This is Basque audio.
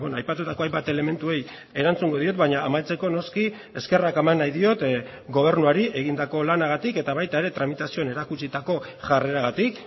aipatutako hainbat elementuei erantzungo diot baina amaitzeko noski eskerrak eman nahi diot gobernuari egindako lanagatik eta baita ere tramitazioen erakutsitako jarreragatik